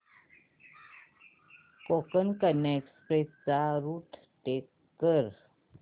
Konkan Kanya express चा route track कर